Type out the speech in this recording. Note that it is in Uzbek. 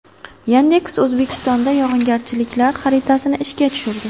Yandex O‘zbekistonda yog‘ingarchiliklar xaritasini ishga tushirdi.